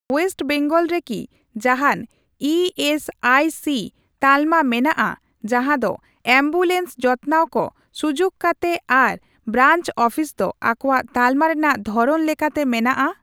West Bengal ᱨᱮᱠᱤ ᱡᱟᱦᱟᱱ E S I C ᱛᱟᱞᱢᱟ ᱢᱮᱱᱟᱜᱼᱟ ᱡᱟᱦᱟᱸ ᱫᱚ ᱮᱢᱵᱩᱞᱮᱱᱥ ᱡᱚᱛᱱᱟᱣ ᱠᱚ ᱥᱩᱡᱩᱠ ᱠᱟᱛᱮ ᱟᱨ ᱵᱨᱟᱧᱪ ᱚᱯᱷᱤᱥ ᱫᱚ ᱟᱠᱚᱣᱟᱜ ᱛᱟᱞᱢᱟ ᱨᱮᱱᱟᱜ ᱫᱷᱚᱨᱚᱱ ᱞᱮᱠᱟᱛᱮ ᱢᱮᱱᱟᱜᱼᱟ ?